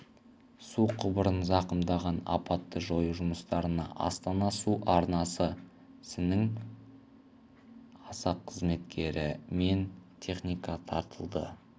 су құбырын зақымдаған апатты жою жұмыстарына астана су арнасы сінің аса қызметкері мен техника тартылды